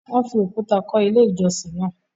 Wọ́n fi òkúta kọ́ Ilé-ìjọsìn náà.